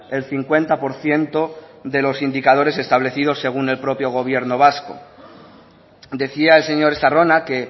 el cincuenta por ciento de los indicadores establecidos según el propio gobierno vasco decía el señor estarrona que